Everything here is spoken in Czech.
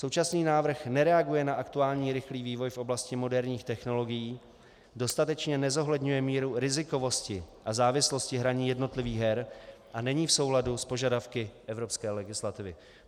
Současný návrh nereaguje na aktuální rychlý vývoj v oblasti moderních technologií, dostatečně nezohledňuje míru rizikovosti a závislosti hraní jednotlivých her a není v souladu s požadavky evropské legislativy.